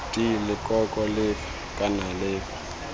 d leloko lefe kana lefe